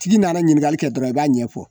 Tigi nana ɲininkali kɛ dɔrɔn i b'a ɲɛfɔ